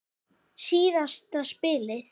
Síðasta spilið.